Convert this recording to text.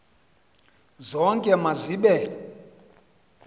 zonke ma zibe